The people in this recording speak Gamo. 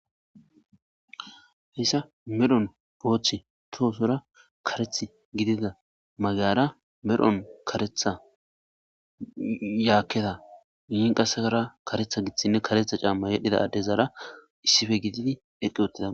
hessa medhon booththi toosora kareth gidida magayara medhon karetha yaakkeda i qasekara karetha giththinne karetha caamma yedhdhida addezaara issife gididi eqqi uttida